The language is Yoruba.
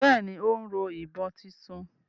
Bẹ́ẹ̀ni, ó ń rọ ìbọn títún